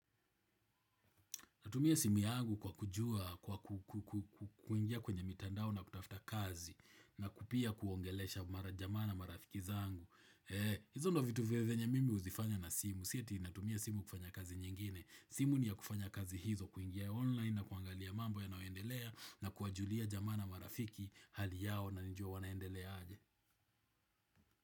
Natumia simu yangu kwa kujua, kwa kuingia kwenye mitandao na kutafuta kazi na pia kuongelesha mara jama na marafiki zangu. Hizo ndio vitu venye mimi huzifanya na simu. Sio eti natumia simu kufanya kazi nyingine. Simu ni ya kufanya kazi hizo kuingia online na kuangalia mambo ya nayoendelea na kuwajulia jama na marafiki hali yao na nijue wanaendelea aje.